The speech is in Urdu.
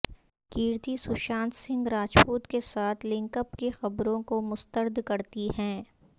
کیرتی سوشانت سنگھ راجپوت کے ساتھ لنک اپ کی خبروں کو مسترد کرتی ہیں